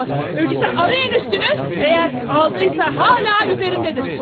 Elə isə axtarın üstünü, əgər aldısa, hələ də üstündədir.